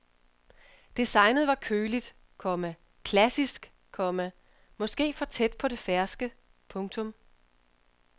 Designet var køligt, komma klassisk, komma måske for tæt på det ferske. punktum